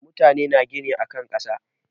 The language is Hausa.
Mutane na gina akan kasar.